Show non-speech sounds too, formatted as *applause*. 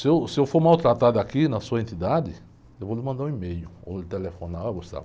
Se eu, se eu for maltratado aqui na sua entidade, eu vou lhe mandar um e-mail ou lhe telefonar, oh. *unintelligible*